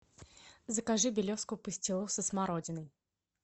закажи белевскую пастилу со смородиной